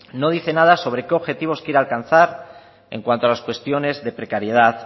no dice nada sobre qué objetivos quiere alcanzar en cuanto a las cuestiones de precariedad